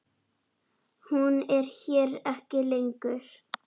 Hún er hér ekki lengur.